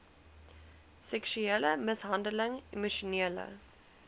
seksuele mishandeling emosionele